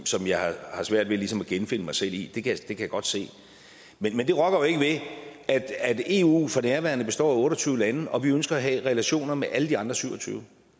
som jeg har svært ved ligesom at genfinde mig selv i det kan jeg godt se men det rokker jo ikke ved at eu for nærværende består af otte og tyve lande og vi ønsker at have relationer med alle de andre syv og tyve